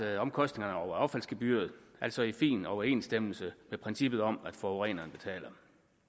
er omkostningerne over affaldsgebyret altså i fin overensstemmelse med princippet om at forureneren betaler